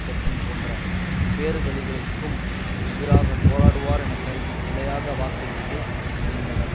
கட்சியின் போன்ற பேருவழிகளுக்கும் எதிராக போராடுவார் என கருதி பிழையாக வாக்களித்து இருந்தனர்